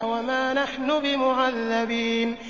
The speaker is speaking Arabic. وَمَا نَحْنُ بِمُعَذَّبِينَ